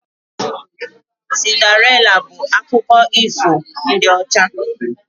Cinderịla bụ akụkọ ifo ndị ọcha